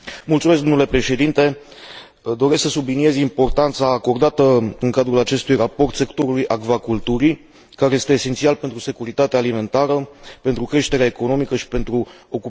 Doresc să subliniez importanța acordată în cadrul acestui raport sectorului acvaculturii, care este esențial pentru securitatea alimentară, pentru creșterea economică și pentru ocuparea forței de muncă în regiunile rurale.